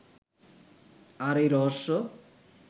আর এই রহস্য